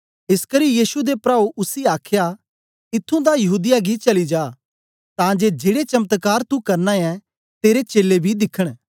एसकरी यीशु दे प्राऊ उसी आखया ईथुं दा यहूदीया गी चली जा तां जे जेड़े चमत्कार तू करना ऐं तेरे चेलें बी दिखन